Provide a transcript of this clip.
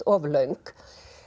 of löng